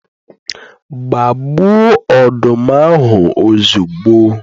Gbaa gbuo ọdụm ahụ ozugbo